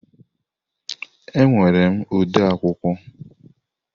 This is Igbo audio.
Ee, enwere m ode akwụkwọ.